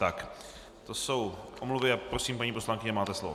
Tak to jsou omluvy a prosím, paní poslankyně, máte slovo.